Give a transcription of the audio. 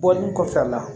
Bɔli kɔfɛ a la